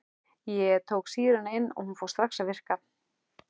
Ég tók sýruna inn og hún fór strax að virka.